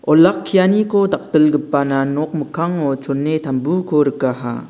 olakkianiko dakdilgipana nok mikkango chone tambuko rikaha.